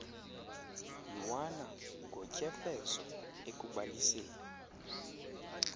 ywana ngotyefezo ekubaliseni